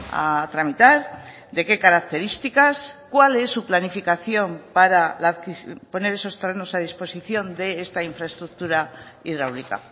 a tramitar de qué características cuál es su planificación para poner esos terrenos a disposición de esta infraestructura hidráulica